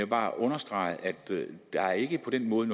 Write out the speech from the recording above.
bare understrege at der ikke på den måde